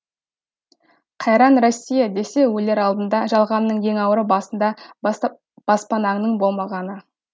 қайран россия десе өлер алдында жалғанның ең ауыры басыңда баспананңның болмағаны